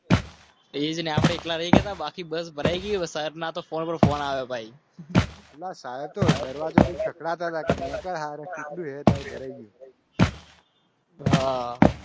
બાકી બસ ભરાઈ ગઈ વરસાદના તોઅલાહા